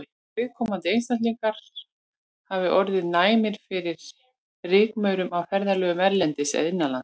Að viðkomandi einstaklingar hafi orðið næmir fyrir rykmaurum á ferðalögum erlendis eða innanlands.